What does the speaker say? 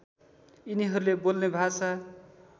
यिनीहरूले बोल्ने भाषा